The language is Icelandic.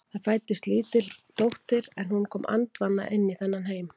Það fæddist lítil dóttir en hún kom andvana í þennan heim.